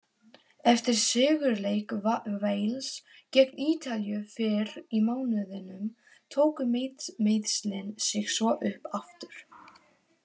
Eftir sigurleik Wales gegn Ítalíu fyrr í mánuðinum tóku meiðslin sig svo upp aftur.